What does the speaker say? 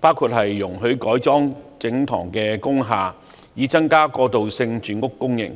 包括容許改裝整幢工廈，以增加過渡性住屋供應。